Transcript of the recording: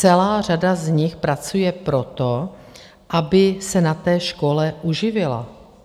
Celá řada z nich pracuje proto, aby se na té škole uživila.